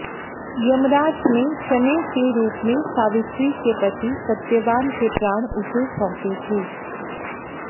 यमराज ने चने के रूप में सावित्री के पति सत्यवान के प्राण उसे सौंपे थे